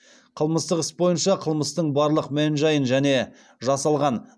қылмыстық іс бойынша қылмыстың барлық мән жайын және жасалған